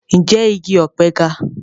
Ǹjẹ́ igi ọ̀pẹ ga?